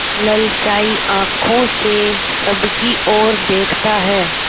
ललचाई आँखों से सबकी और देखता है